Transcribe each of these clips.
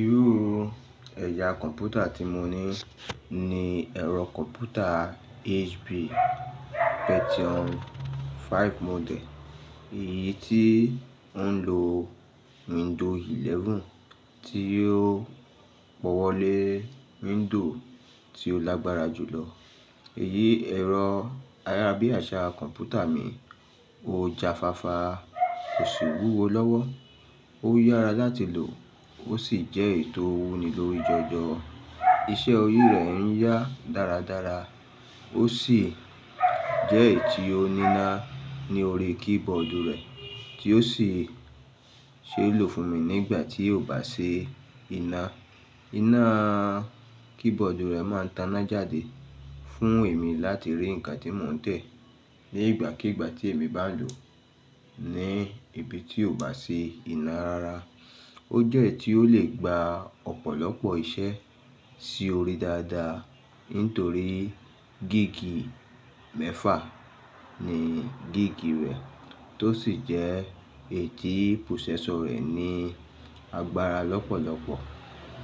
Iru ẹya kọ̀mpútà tí mo ní ni ẹ̀rọ kọ̀mpútà HP Pentium 5 model, èyí tí ó ń lo window 11 tí ó pọ̀wọ́ lé window tí ó lágbára jù lọ. Èyí ẹ̀rọ ayárábíàṣá kọ̀mpútà mi, ó ja fáfá, kò sì wúwo lọ́wọ́. Ó yára láti lò, ó sì jẹ́ ètò wúni lórí ìjọ̀jọ̀. Iṣẹ́ orí rẹ̀ ń yá dáradára, ó sì jẹ́ èyí tí ó níná ní orí keyboard rẹ̀ tí ó sì ṣeé lò fún mi nígbà tí yóò bá ṣe iná. Iná keyboard rẹ̀ máa n taná jáde fún èmi láti rí nǹkan tí mò ń tẹ̀ nígbàkígbà tí èmi bá lò ní ibi tí ò bá ṣi iná rara. Ó jẹ́ èyí tí ó lè gba ọ̀pọ̀lọpọ̀ iṣẹ́ sí orí dáadáa nítorí gig mẹ́fà ni gig rẹ̀ tó sì jẹ́ èyí tí processor rẹ̀ ní agbára lọ́pọ̀lọpọ̀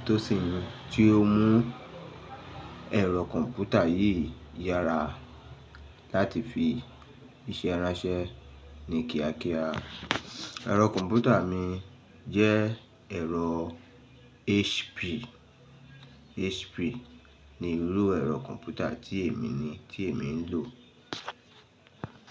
tó sì ni tí ó mú ẹ̀rọ kọ̀mpútà yìí yára láti fi iṣe ranse ní kíákíá. Ẹ̀rọ kọ̀mpútà mi jẹ́ ẹ̀rọ HP. HP ni irú ẹ̀rọ kọ̀mpútà tí èmi ní tí èmi ń lò.